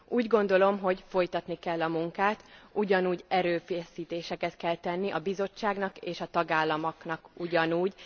Úgy gondolom, hogy folytatni kell a munkát, erőfeszítéseket kell tenni a Bizottságnak és a tagállamoknak egyaránt.